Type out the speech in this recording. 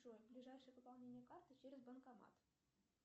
джой ближайшее пополнение карты через банкомат